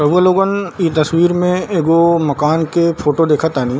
रउआ लोगन ई तस्वीर में एगो मकान के फोटो देखे तानी।